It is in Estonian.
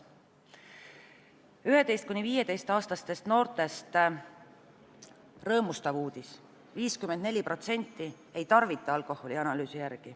11–15-aastaste noorte kohta on rõõmustav uudis: küsitluse kohaselt 54% ei tarvita alkoholi.